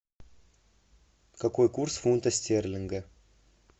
какой курс фунта стерлинга